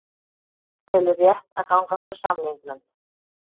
Telur rétt að ganga frá samningnum